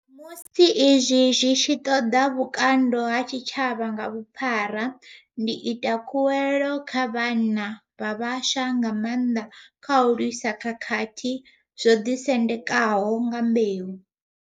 Musi izwi zwi tshi ṱoḓa vhukando ha tshitshavha nga vhuphara, ndi ita khuwelo kha vhanna vha vhaswa nga maanḓa kha u lwisa khakhathi dzo ḓisendekaho nga mbeu.